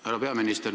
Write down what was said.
Härra peaminister!